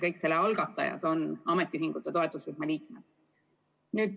Kõik selle algatajad on ametiühingute toetusrühma liikmed.